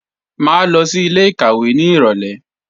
Mà á lọ sí ilé-ìkàwé nírọ̀lé